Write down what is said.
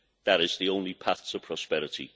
That is the only path to prosperity.